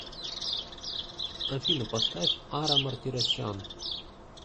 афина поставь ара мартиросян